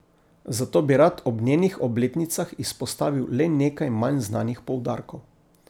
Zato bi rad ob njenih obletnicah izpostavil le nekaj manj znanih poudarkov.